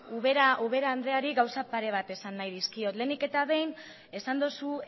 ubera andreari gauza pare bat esan nahi dizkiot lehenik eta behin esan duzu